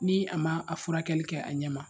Ni a ma a furakɛli kɛ a ɲɛ ma